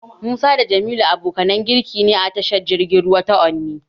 Musa da Jamilu abokanan jirgi ne a tashar jirgin ruwa ta Onne.